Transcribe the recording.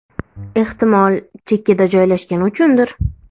Ehtimol chekkada joylashgani uchundir.